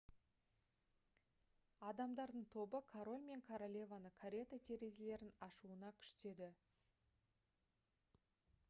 адамдардың тобы король мен королеваны карета терезелерін ашуына күштеді